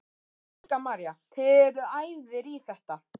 Helga María: Þið eruð æfðir í þetta?